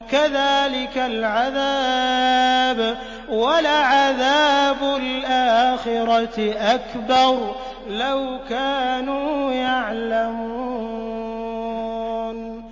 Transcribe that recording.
كَذَٰلِكَ الْعَذَابُ ۖ وَلَعَذَابُ الْآخِرَةِ أَكْبَرُ ۚ لَوْ كَانُوا يَعْلَمُونَ